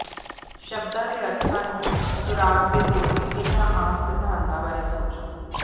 ਸ਼ਬਦਾਂ ਦੇ ਅਰਥਾਂ ਨੂੰ ਸੁਰਾਗ ਦੇ ਤੌਰ ਤੇ ਇਨ੍ਹਾਂ ਆਮ ਸਿਧਾਂਤਾਂ ਬਾਰੇ ਸੋਚੋ